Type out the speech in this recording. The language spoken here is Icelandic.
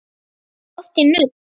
Ferðu oft í nudd?